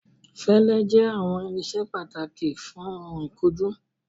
Fẹlẹ jẹ awọn irinṣẹ pataki fun oun ikunju